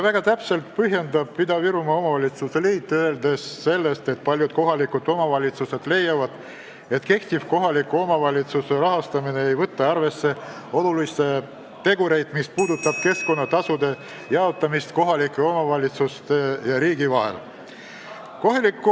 Väga täpselt põhjendab Ida-Virumaa Omavalitsuste Liit, öeldes, et paljud kohalikud omavalitsused leiavad, et kehtiv kohaliku omavalitsuse rahastamise kord ei võta arvesse olulisi tegureid, mis puudutavad keskkonnatasude jaotamist kohalike omavalitsuste ja riigi vahel.